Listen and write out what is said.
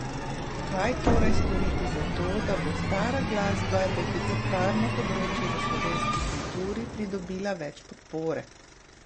Kaj torej storiti za to, da bo stara glasba, deficitarno področje v slovenski kulturi, pridobila več podpore?